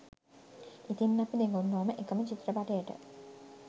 ඉතිං අපි දෙගොල්ලෝම එකම චිත්‍රපටයට